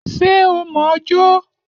Ṣé o mọ̀ ọ́ jó?